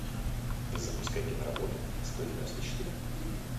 запускай киноработу сто девяносто четыре